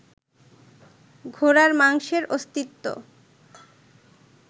ঘোড়ার মাংসের অস্তিত্ব